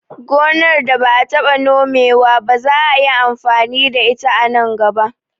Gonar da ba'a taɓa Nome wa ba za'a yi amfani da ita a gaba